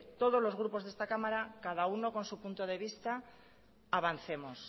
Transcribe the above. todos los grupos de esta cámara cada uno con su punto de vista avancemos